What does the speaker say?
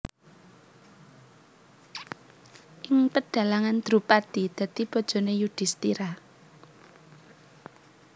Ing pedhalangan Drupadi dadi bojone Yudhistira